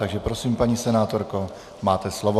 Takže prosím, paní senátorko, máte slovo.